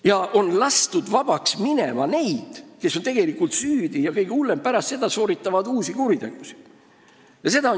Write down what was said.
Ja on lastud vabaks neid, kes on tegelikult süüdi ja kes – mis kõige hullem – pärast sooritavad uusi kuritegusid.